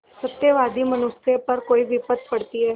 सत्यवादी मनुष्य पर कोई विपत्त पड़ती हैं